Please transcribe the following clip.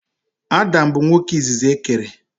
Adam bụ nwoke izizi e kere.